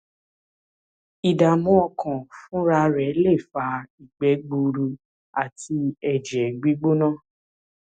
ìdààmú ọkàn fúnra rẹ lè fa ìgbẹ gbuuru àti ẹjẹ gbígbóná